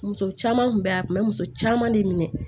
Muso caman kun bɛ a kun bɛ muso caman de minɛ